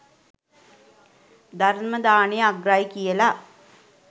ධර්ම දානය අග්‍රයි කියලා